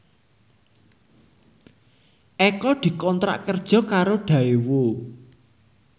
Eko dikontrak kerja karo Daewoo